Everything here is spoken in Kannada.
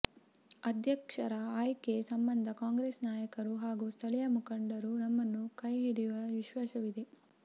ಅಧ್ಯಕ್ಷರ ಆಯ್ಕೆ ಸಂಬಂಧ ಕಾಂಗ್ರೆಸ್ ನಾಯಕರು ಹಾಗೂ ಸ್ಥಳೀಯ ಮುಖಂಡರು ನಮ್ಮನ್ನ ಕೈಹಿಡಿಯುವ ವಿಶ್ವಾಸವಿದೆ